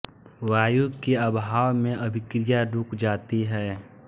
वायु के अभाव में अभिक्रिया रुक जाती है